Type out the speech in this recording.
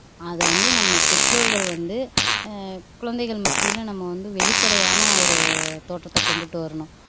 அத வந்து நம்ம பெற்றோர்கள் வந்து ஆஹ் குழந்தைகள் மத்தியில நம்ம வந்து வெளிப்படையான ஒரு தோற்றத்தை கொண்டுட்டு வரணும்